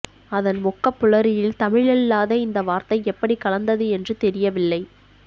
அதன் வொக்கபுலரியில் தமிழல்லாத இந்த வார்த்தை எப்படி கலந்தது என்று தெரியவில்லை